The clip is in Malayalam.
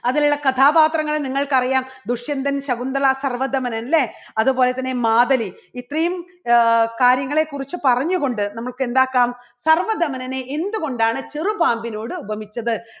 അതിലുള്ള കഥാപാത്രങ്ങളെ നിങ്ങൾക്കറിയാം ദുഷ്യന്തൻ, ശകുന്തള, സർവ്വധമനൻ അല്ലെ? അതുപോലെതന്നെ മാധവി ഇത്രയും ആഹ് കാര്യങ്ങളെക്കുറിച്ച് പറഞ്ഞുകൊണ്ട് നമുക്ക് എന്താക്കാം സർവ്വധമനനെ എന്തുകൊണ്ടാണ് ചെറുപാമ്പിനോട് ഉപമിച്ചത്